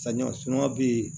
Samiya suman be yen